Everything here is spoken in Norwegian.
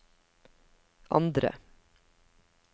andre